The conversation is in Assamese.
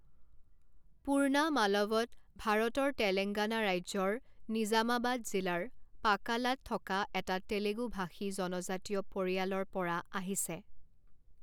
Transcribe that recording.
পূৰ্ণা মালৱত ভাৰতৰ তেলেঙ্গানা ৰাজ্যৰ নিজামাবাদ জিলাৰ পাকালাত থকা এটা তেলেগু ভাষী জনজাতীয় পৰিয়ালৰ পৰা আহিছে।